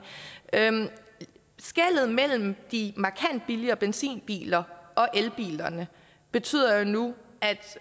skellet mellem de markant billigere benzinbiler og elbilerne betyder jo nu